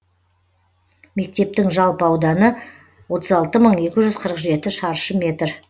мектептің жалпы ауданы отыз алты мың екі жүз қырық жеті шаршы метр